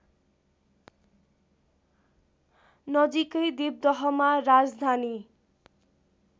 नजिकै देवदहमा राजधानी